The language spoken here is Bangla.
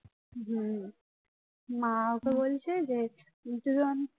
হম মা ওকে বলছে যে